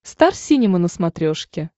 стар синема на смотрешке